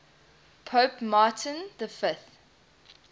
pope martin v